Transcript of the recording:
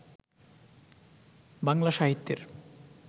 বাংলা সাহিত্যের